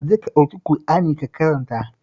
Ka je ka ɗauki Ƙur'ani ka karanta